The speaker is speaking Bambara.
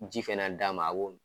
Ji fɛnɛ d'a ma a b'o min